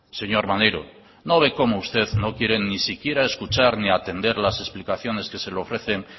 señor maneiro no ve como usted no quiere ni siquiera escuchar ni atender las explicaciones que se ofrecen